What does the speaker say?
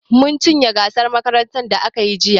Mun cinye gasar makarantar da aka yi jiya.